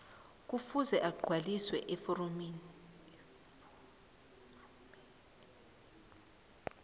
ekufuze agcwalise iforomeli